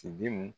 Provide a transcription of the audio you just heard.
Tidenw